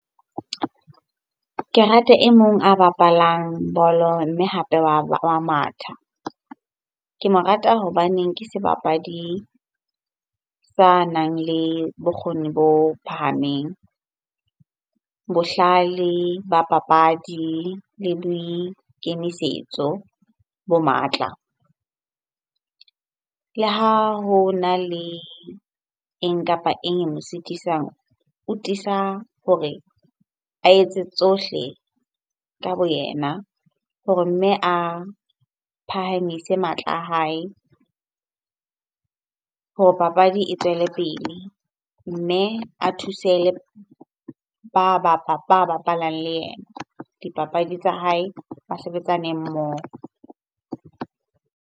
Ke rata e mong a bapalang bolo mme hape wa matha. Ke mo rata hobaneng ke sebapadi sa nang le bokgoni bo phahameng, bohlale ba papadi le boikemisetso bo matla. Le ha ho na le eng kapa eng e mo sitisang? O tiisa hore a etse tsohle ka bo yena hore mme a phahamise matla a hae hore papadi e tswele pele. Mme a thuse ba bapalang le yena dipapadi tsa hae, ba sebetsane mmoho.